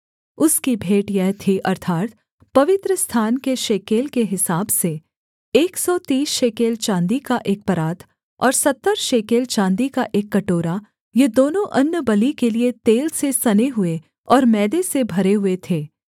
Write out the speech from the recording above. उसकी भेंट यह थी अर्थात् पवित्रस्थान के शेकेल के हिसाब से एक सौ तीस शेकेल चाँदी का एक परात और सत्तर शेकेल चाँदी का एक कटोरा ये दोनों अन्नबलि के लिये तेल से सने हुए और मैदे से भरे हुए थे